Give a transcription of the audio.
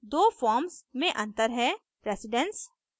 दो फॉर्म्स मे अंतर है प्रेसिडन्स